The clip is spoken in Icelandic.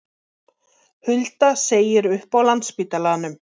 Hulda segir upp á Landspítalanum